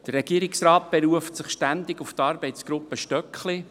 Der Regierungsrat beruft sich ständig auf die Arbeitsgruppe Stöckli.